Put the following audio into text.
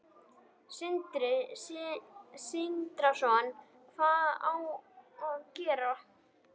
Sindri Sindrason: Hvað á að gera?